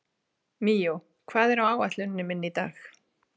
Míó, hvað er á áætluninni minni í dag?